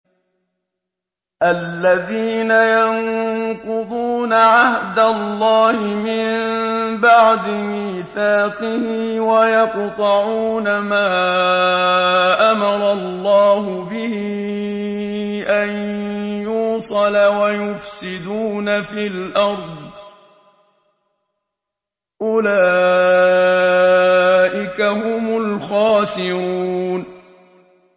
الَّذِينَ يَنقُضُونَ عَهْدَ اللَّهِ مِن بَعْدِ مِيثَاقِهِ وَيَقْطَعُونَ مَا أَمَرَ اللَّهُ بِهِ أَن يُوصَلَ وَيُفْسِدُونَ فِي الْأَرْضِ ۚ أُولَٰئِكَ هُمُ الْخَاسِرُونَ